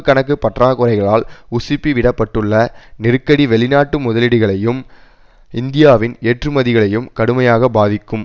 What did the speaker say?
கணக்கு பற்றாக்குறைகளால் உசுப்பிவிடப்பட்டுள்ள நெருக்கடி வெளிநாட்டு முதலீடுகளையும் இந்தியாவின் ஏற்றுமதிகளையும் கடுமையாக பாதிக்கும்